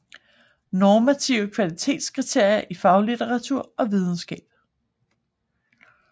Normative kvalitetskriterier i faglitteratur og videnskab